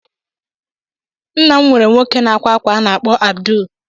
Nna m nweere nwoke na-akwa akwa a na-akpọ Abdul.